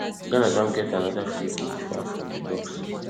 ghana don get anoda freekick far from di box